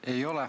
Ei ole.